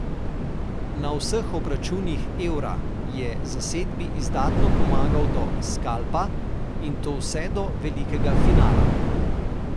Na vseh obračunih Eura je zasedbi izdatno pomagal do skalpa, in to vse do velikega finala.